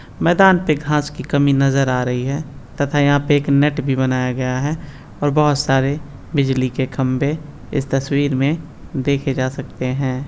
मैदान पे घास की कमी नजर आ रही है तथा यहा पे एक नेट भी बनाया गया है और बहोत सारे बिजली के खंबे इस तस्वीर मे देखे जा सकते है।